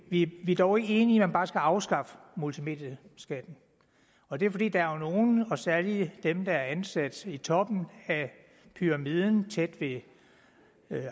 vi er dog ikke enige man bare skal afskaffe multimedieskatten og det er fordi der er nogle og særlig dem der er ansat i toppen af pyramiden tæt ved